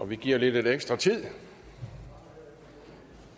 vi giver lige lidt ekstra tid